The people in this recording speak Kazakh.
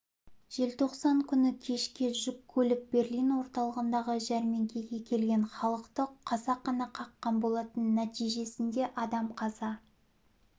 желтоқсан күні кешке жүк көлік берлин орталығындағы жәрмеңкеге келген халықты қасақана қаққан болатын нәтижесінде адам қаза